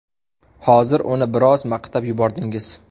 Hozir uni biroz maqtab yubordingiz.